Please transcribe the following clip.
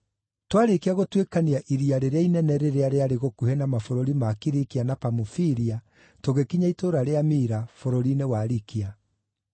Twaarĩkia gũtuĩkania iria rĩrĩa inene rĩrĩa rĩarĩ gũkuhĩ na mabũrũri ma Kilikia na Pamufilia tũgĩkinya itũũra rĩa Mira, bũrũri-inĩ wa Likia.